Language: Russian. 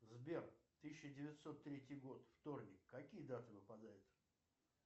сбер тысяча девятьсот третий год вторник какие даты выпадают